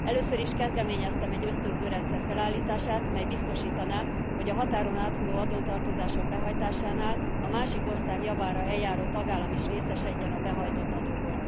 Először is kezdeményeztem egy ösztönző rendszer felállítását, mely biztosítaná, hogy a határon áthulló adótartozások behajtásánál a másik ország javára eljáró tagállam is részesedjen a behajtott adóból.